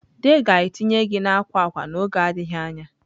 The ga-etinye gị na akwa akwa n'oge adịghị anya.